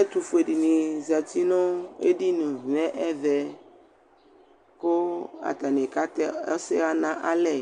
Ɛtʋfue dɩnɩ zǝtɩ nʋ edɩnɩ nʋ ɛvɛ, kʋ atanɩ ka tɛ ɔsɛɣa nʋ alɛ